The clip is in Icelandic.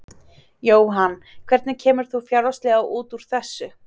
Jóhann: Hvernig kemur þú fjárhagslega út úr þessu?